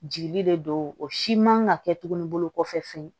Jigi de do o si man ka kɛ tuguni bolo kɔfɛ fɛn